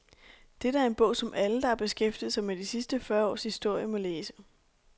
Dette er en bog, som alle, der har beskæftiget sig med de sidste fyrre års historie, må læse.